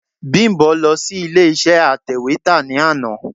Bímbọ̀ lọ sí ilé iṣé atẹ̀wétà ní àná.